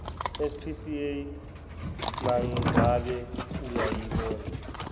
spca mangabe uyayibona